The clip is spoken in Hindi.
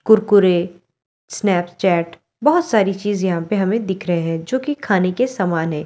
कुरकुरे स्नैपचैट बहुत सारी चीज यहां पे हमें दिख रहे है जो कि खाने के समान है।